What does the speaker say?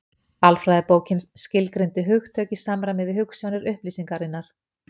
Alfræðibókin skilgreindi hugtök í samræmi við hugsjónir upplýsingarinnar.